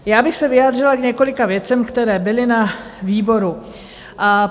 Já bych se vyjádřila k několika věcem, které byly na výboru.